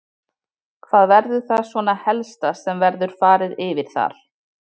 Hvað verður það svona helsta sem verður farið yfir þar?